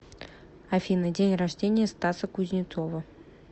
афина день рождения стаса кузнецова